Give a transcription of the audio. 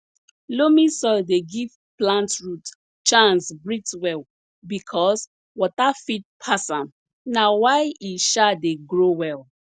loamy soil dey give plant root chance breathe well because water fit pass am na why e um dey grow well